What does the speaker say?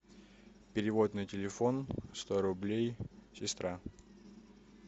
перевод на телефон сто рублей сестра